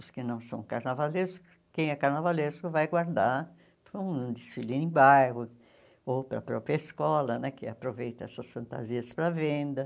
Os que não são carnavalescos, quem é carnavalesco vai guardar para um desfile em bairro ou para a própria escola né, que aproveita essas fantasias para venda.